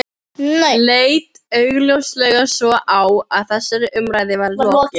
Leit augljóslega svo á að þessari umræðu væri lokið.